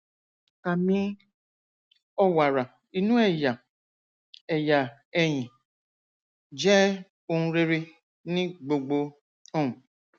àmì ọwàrà inú ẹyà ẹyà ẹyìn jẹ ohun rere ní gbogbo um